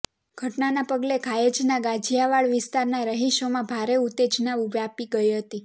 ઘટનાના પગલે ઘાયજ ના ગાજીયાવાડ વિસ્તારના રહિશોમાં ભારે ઉતેજના વ્યાપી ગઇ હતી